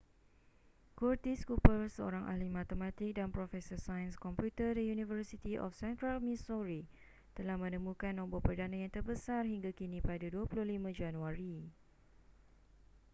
curtis cooper seorang ahli matematik dan profesor sains komputer di university of centrak missouri telah menemukan nombor perdana yang terbesar hingga kini pada 25 januari